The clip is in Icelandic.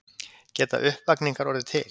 Geta uppvakningar orðið til?